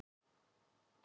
Fellshlíð